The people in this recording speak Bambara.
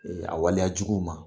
Ee a waleya juguw ma.